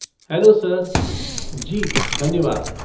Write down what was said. Hello, sir! जी, धन्यवाद।